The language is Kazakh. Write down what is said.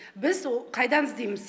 біз қайдан іздейміз